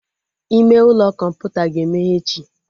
Ime ụlọ kọmputa ga-emeghe echi